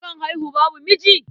Akan haihu babu miji?